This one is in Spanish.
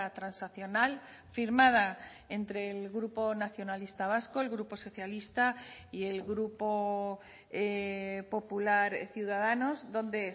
transaccional firmada entre el grupo nacionalista vasco el grupo socialista y el grupo popular ciudadanos donde